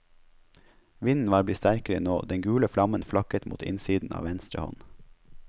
Vinden var blitt sterkere nå, den gule flammen flakket mot innsiden av venstre hånd.